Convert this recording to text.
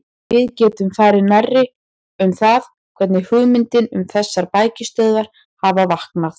Við getum farið nærri um það, hvernig hugmyndin um þessar bækistöðvar hafði vaknað.